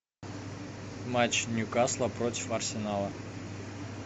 матч ньюкасла против арсенала